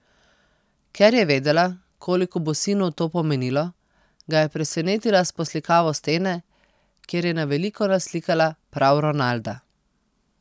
Ker je vedela, koliko bo sinu to pomenilo, ga je presenetila s poslikavo stene, kjer je na veliko naslikala prav Ronalda.